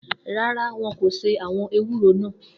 No, they will not boil the bitter leaves.